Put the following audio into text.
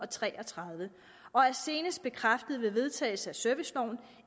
tre og tredive og er senest bekræftet ved vedtagelse af serviceloven